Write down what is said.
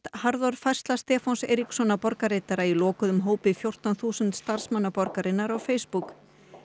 harðorð færsla Stefáns Eiríkssonar borgarritara í lokuðum hópi fjórtán þúsund starfsmanna borgarinnar á Facebook